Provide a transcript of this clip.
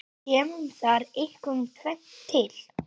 Kemur þar einkum tvennt til.